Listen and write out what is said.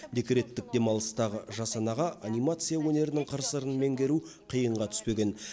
декреттік демалыстағы жас анаға анимация өнерінің қыр сырын меңгеру қиынға түспеген